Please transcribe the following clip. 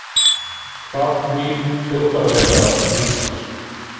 Hvað knýr hljóðfæraleikara til Íslands?